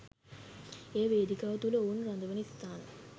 එය වේදිකාව තුළ ඔවුන් රඳවන ස්ථාන